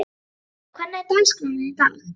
Guðmunda, hvernig er dagskráin í dag?